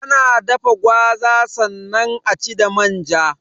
Ana dafa gwaza sannan aci da manja